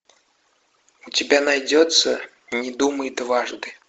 у тебя найдется не думай дважды